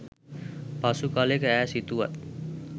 පසු කලෙක ඈ සිතුවත්